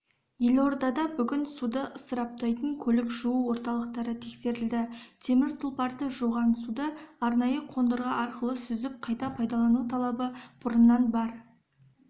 елордада бүгін суды ысыраптайтын көлік жуу орталықтары тексерілді темір тұлпарды жуған суды арнайы қондырғы арқылы сүзіп қайта пайдалану талабы бұрыннан бар